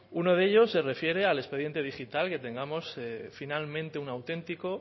uno de ellos se refiere al expediente digital que tengamos finalmente un auténtico